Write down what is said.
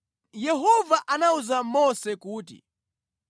Yehova anawuza Mose kuti,